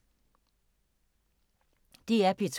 DR P2